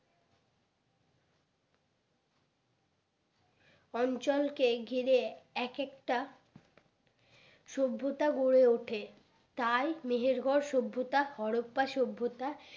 অঞ্চল কে ঘিরে এক একটা সভ্যতা গড়ে উঠে তাই মিহির গড় সভ্যতা হরপ্পা সভ্যতা